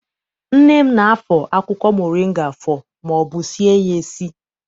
Nne m na- afọ akwụkwọ moringa afọ maọbụ sie ya esi.